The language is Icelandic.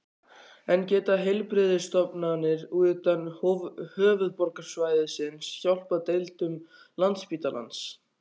En geta heilbrigðisstofnanir utan höfuðborgarsvæðisins hjálpað deildum Landspítalans?